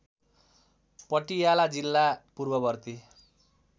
पटियाला जिल्ला पूर्ववर्ती